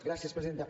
gràcies presidenta